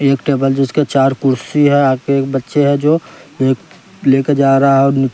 एक टेबल जिसके चार कुर्सी हैं आपके एक बच्चे है जो एक लेकर जा रहा है और--